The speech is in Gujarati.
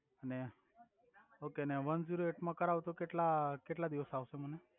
ઓકે ને વનજિરો એઈટ મા કરાવુ તો કેટ્લા કેટલા દિવસ આવ્સે